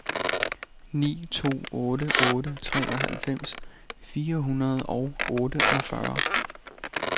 ni to otte otte treoghalvfems fire hundrede og otteogfyrre